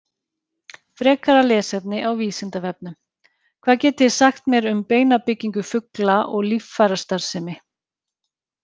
Frekara lesefni á Vísindavefnum: Hvað getið þið sagt mér um beinabyggingu fugla og líffærastarfsemi?